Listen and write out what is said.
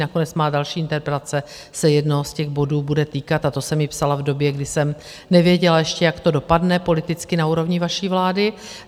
Nakonec má další interpelace se jednoho z těch bodů bude týkat, a to jsem ji psala v době, kdy jsem nevěděla ještě, jak to dopadne politicky na úrovni vaší vlády.